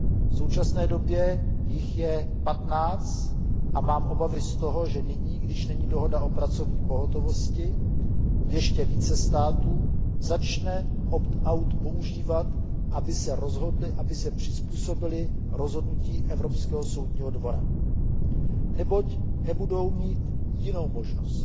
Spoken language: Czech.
V současné době jich je 15 a mám obavy z toho, že nyní, když není dohoda o pracovní pohotovosti, ještě více států začne opt out používat, aby se přizpůsobily rozhodnutí Evropského soudního dvora, neboť nebudou mít jinou možnost.